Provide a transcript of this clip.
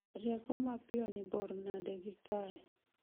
Rieko mapiyo ni bor nade gi kae